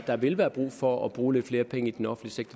der vil være brug for at bruge lidt flere penge i den offentlige